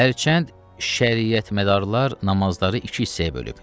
Hərçənd şəriyətmədarlar namazları iki hissəyə bölüb.